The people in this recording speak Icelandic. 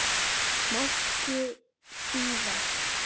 Máski síðar.